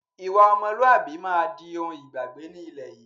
Ìwà ọmọlúwàbí máa di òun ìgbàgbé ni ilẹ̀ yìí